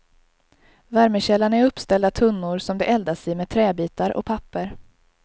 Värmekällan är uppställda tunnor som det eldas i med träbitar och papper.